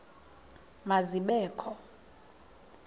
ma zibe kho